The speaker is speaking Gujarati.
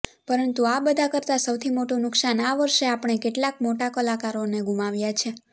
પરંતુ આ બધા કરતા સૌથી મોટું નુકસાન આ વર્ષે આપણે કેટલાક મોટા કલાકારોને ગુમાવ્યા છે